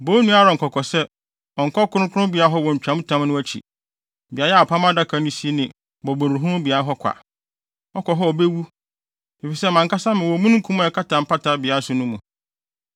“Bɔ wo nua Aaron kɔkɔ sɛ, ɔnnkɔ kronkronbea hɔ wɔ ntwamtam no akyi; beae a apam adaka no si ne mmɔborɔhunu beae hɔ kwa. Ɔkɔ hɔ a obewu, efisɛ mʼankasa mewɔ omununkum a ɛkata mpata beae so no mu.